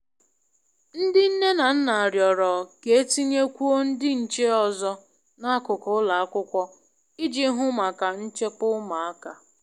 Ndị nne na nna rịọrọ k'etinye kwuo ndị nche ọzọ n'akụkụ ụlọ akwụkwọ i ji hụ maka nchekwa ụmụaka.